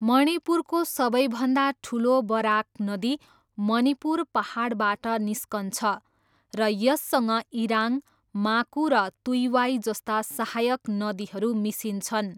मणिपुरको सबैभन्दा ठुलो बराक नदी मणिपुर पाहाडबाट निस्कन्छ र यससँग इराङ, माकू र तुइवाई जस्ता सहायक नदीहरू मिसिन्छन्।